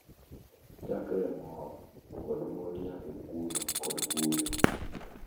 chakre e mor kod mor nyaka e kuyo kod kuyo.